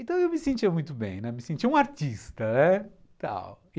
Então eu me sentia muito bem, né, me sentia um artista, tal.